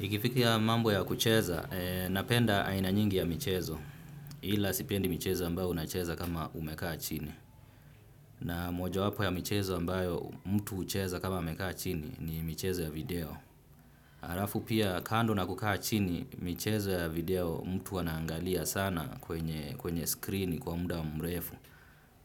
Ikifikiya mambo ya kucheza, napenda aina nyingi ya michezo, ila sipendi michezo ambayo unacheza kama umekaa chini. Na moja wapo ya michezo ambayo mtu ucheza kama amekaa chini ni michezo ya video. Alafu pia kando na kukaa chini, michezo ya video mtu anaangalia sana kwenye screen kwa muda mrefu.